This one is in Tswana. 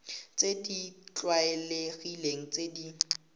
tse di tlwaelegileng tse di